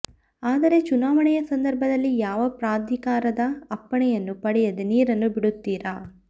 ಆದರೆ ಚುನಾವಣೆಯ ಸಂದರ್ಭದಲ್ಲಿ ಯಾವಾ ಪ್ರಾಧಿಕಾರದ ಅಪ್ಪಣೆಯನ್ನು ಪಡೆಯದೆ ನೀರನ್ನು ಬಿಡುತ್ತೀರ